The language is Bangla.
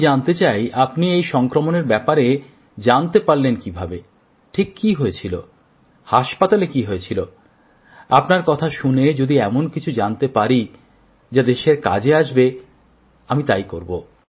আমি জানতে চাই আপনি এই সংক্রমণের ব্যাপারে জানতে পারলেন কিভাবে ঠিক কি হয়েছিল হাসপাতালে কি হয়েছিল আপনার কথা শুনে যদি এমন কিছু জানতে পারি যা দেশের কাজে আসবে আমি তাই করব